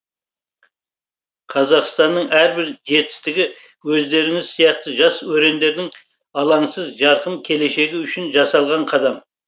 қазақстанның әрбір жетістігі өздеріңіз сияқты жас өрендердің алаңсыз жарқын келешегі үшін жасалған қадам